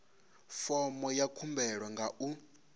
fomo ya khumbelo nga u